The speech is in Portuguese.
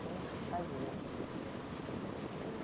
Como vocês faziam?